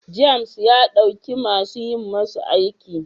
James ya dauki masu yi masa aiki.